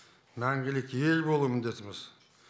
мәңгілік ел болу міндетіміз